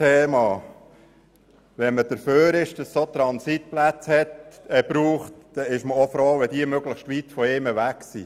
Wenn man dafür ist, dass es Transitplätze für Fahrende braucht, ist man froh, wenn diese möglichst weit von einem weg liegen.